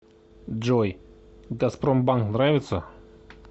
джой газпромбанк нравится